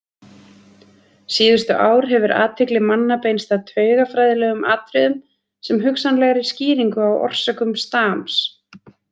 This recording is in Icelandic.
Síðustu ár hefur athygli manna beinst að taugafræðilegum atriðum sem hugsanlegri skýringu á orsökum stams.